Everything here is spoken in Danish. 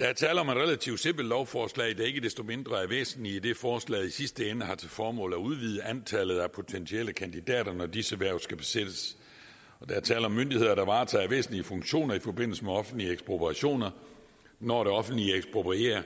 der er tale om et relativt simpelt lovforslag der ikke desto mindre er væsentligt idet forslaget i sidste ende har til formål at udvide antallet af potentielle kandidater når disse hverv skal besættes og der er tale om myndigheder der varetager væsentlige funktioner i forbindelse med offentlige ekspropriationer når det offentlige eksproprierer